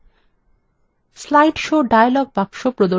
slide show dialog box প্রদর্শিত হচ্ছে